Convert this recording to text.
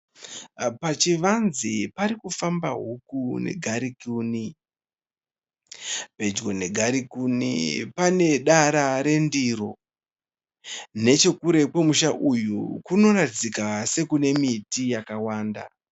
Pachivanze parikufamba huku nengarikuni. Pedyo nengarikuni pane dara rendiro nechekure kwemusha uyu kunoratidzika sekune miti yakawanda.